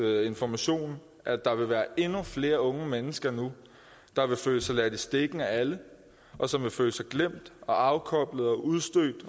af information at der vil være endnu flere unge mennesker nu der vil føle sig ladt i stikken af alle og som vil føle sig glemt og afkoblet og udstødt